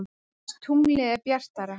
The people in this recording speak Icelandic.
Aðeins tunglið er bjartara.